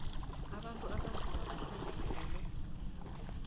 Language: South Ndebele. abantu abanzima bahlanganyele